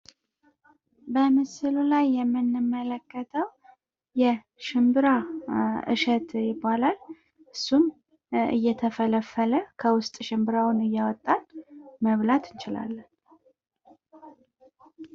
በምስሉ ላይ የምንመለከተው የሽንብራ እሸት ይባላል እሱም ሽምብራውን እየፈለፈልን ከውስጥ እያወጣን መብላት እንችላለን።